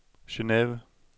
Geneve